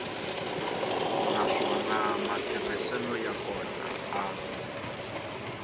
naswona matirhiselo ya kona a